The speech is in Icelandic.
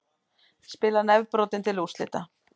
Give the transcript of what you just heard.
Spilar nefbrotinn til úrslita